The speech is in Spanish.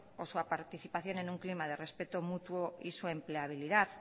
o su participación en un clima de respeto mutuo y su empleabilidad